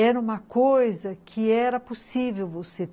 Era uma coisa que era possível você.